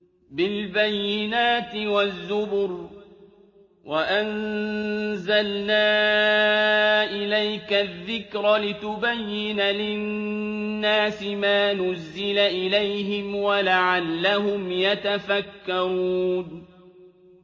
بِالْبَيِّنَاتِ وَالزُّبُرِ ۗ وَأَنزَلْنَا إِلَيْكَ الذِّكْرَ لِتُبَيِّنَ لِلنَّاسِ مَا نُزِّلَ إِلَيْهِمْ وَلَعَلَّهُمْ يَتَفَكَّرُونَ